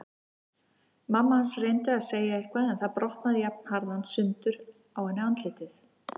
Mamma hans reyndi að segja eitthvað en það brotnaði jafnharðan sundur á henni andlitið.